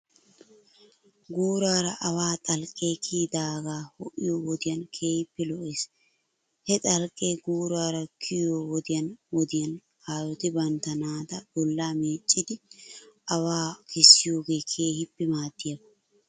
Guuraara awaa xalqee kiyidaagaa ho'iyo wodiyan keehippe lo'ees. He xalqee guuraara kiyoo wodiyan wodiyan aayoti bantta naata bollaa meeccidi awaa kessiyoogee keehippe maadiyaaba.